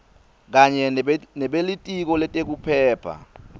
kanye nebelitiko letekuphepha